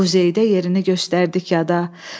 Quzeydə yerini göstərdi kəda.